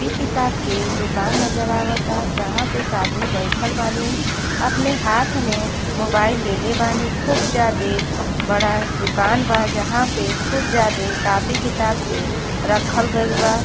Copy किताब के दुकान नजर आवता जहां पे एक आदमी बइठल बानी। अपने हाथ में मोबाइल ले ले बानी। खूब जायदे बड़ा दुकान बा जहां पे खूब ज्यादे कापी किताब के रखल गइल बा |